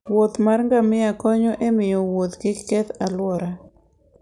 Wuoth mar ngamia konyo e miyo wuoth kik keth alwora